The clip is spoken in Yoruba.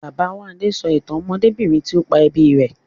Babáwándé sọ ìtàn ọmọdébìnrin tí ó pa ẹbí rẹ̀